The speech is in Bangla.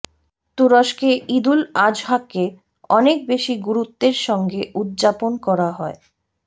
তুরস্কে ঈদুল আযহাকে অনেক বেশি গুরুত্বের সঙ্গে উদযাপন করা হয়